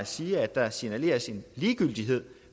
sige at der signaleres en ligegyldighed